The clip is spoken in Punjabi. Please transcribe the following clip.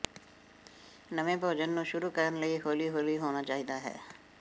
ਨਵੇਂ ਭੋਜਨ ਨੂੰ ਸ਼ੁਰੂ ਕਰਨ ਲਈ ਹੌਲੀ ਹੌਲੀ ਹੋਣਾ ਚਾਹੀਦਾ ਹੈ